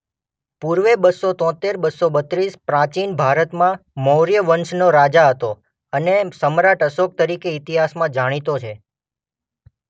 પૂર્વે બસો તોતેર બસો બત્રીસ પ્રાચીન ભારતમાં મૌર્ય વંશનો રાજા હતો અને સમ્રાટ અશોક તરીકે ઇતિહાસમાં જાણીતો છે.